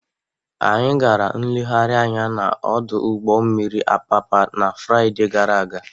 Anyị gara nlegharị anya n'ọdụ ụgbọ mmiri Apapa na Fraịde gara aga.